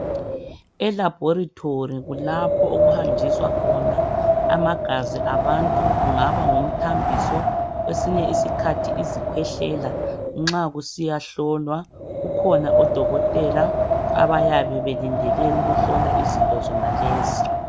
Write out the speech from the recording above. Elabholitholi kulapho okuhanjiswa khona amagazi abantu, kungaba ngumthambizo, kwesinye isikhathi kungabe yizikwehlela, bakhona nxa kusiyahlolwa, bakhona odokothela abayabe belindele ukuhlola izinto zenalezi.